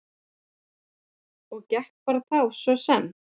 Og ekki bara þá, svo sem.